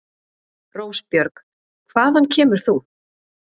Rósbjörg, hvaðan kemur þú?